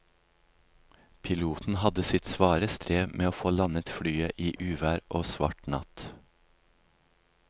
Piloten hadde sitt svare strev med å få landet flyet i uvær og svart natt.